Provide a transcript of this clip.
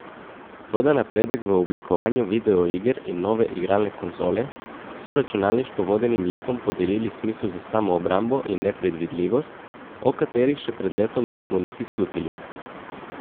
Toda napredek v oblikovanju videoiger in nove igralne konzole so računalniško vodenim likom podelili smisel za samoobrambo in nepredvidljivost, o katerih še pred letom nismo niti slutili.